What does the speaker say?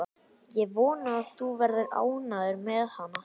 Ég vona að þú verðir ánægður með hana.